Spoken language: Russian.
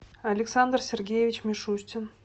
александр сергеевич мишустин